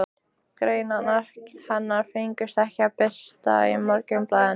Greinarnar hennar fengust ekki birtar í Morgunblaðinu.